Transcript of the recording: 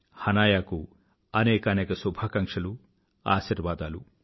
హనాయాకు అనేకానేక శుభాకాంక్షలు ఆశీర్వాదాలు